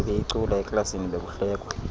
ebeyicula eklasini bekuhlekwa